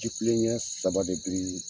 Jifilen ɲe saba de biril